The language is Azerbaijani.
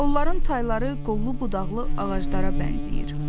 Onların tayları qollu budaqlı ağaclara bənzəyir.